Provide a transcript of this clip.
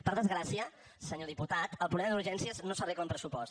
per desgràcia senyor diputat el problema d’urgències no s’arregla amb pressupost